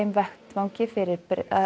vettvangi fyrir